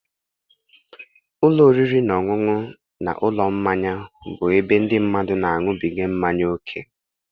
Ụlọ oriri na ọṅụṅụ na ụlọ mmanya bụ ebe ndị mmadụ na-aṅụbiga mmanya ókè.